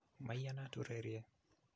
Maiyanat urerie